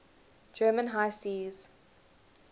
german high seas